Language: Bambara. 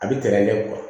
A bɛ tɛrɛn kɛ